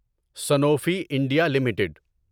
Sanofi India limited